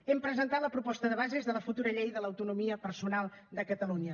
hem presentat la proposta de bases de la futura llei de l’autonomia personal de catalunya